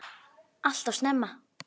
Alltof snemma.